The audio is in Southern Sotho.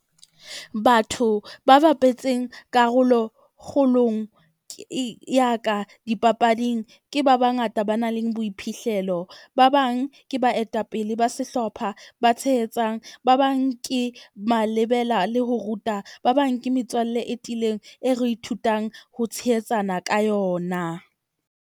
Batho ba bapetseng karolo kgolong ya ka dipapading ke ba bangata ba nang le boiphihlelo. Ba bang ke baetapele ba sehlopha ba tshehetsang. Ba bang ke malebela le ho ruta. Ba bang ke metswalle e tiileng, e re ithutang ho tshehetsana ka yona.